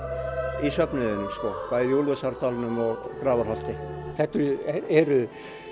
í söfnuðinum bæði í Úlfarsárdalnum og Grafarholti þetta eru